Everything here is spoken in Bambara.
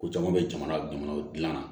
Ko caman bɛ jamana jamanaw dilanna